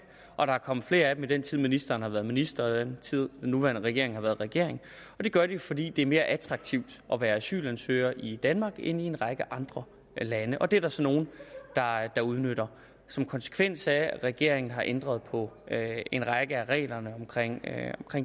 og der er kommet flere af dem i den tid ministeren har været minister og i den tid den nuværende regering har været regering og det gør de fordi det er mere attraktivt at være asylansøger i danmark end i en række andre lande det er der så nogle der udnytter som konsekvens af at regeringen har ændret på en række af reglerne omkring